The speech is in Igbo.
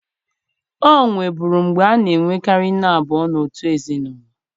O nweburu mgbe a na-enwekarị nne abụọ n'otu ezinụlọ